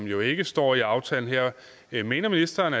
jo ikke står i aftalen her mener ministeren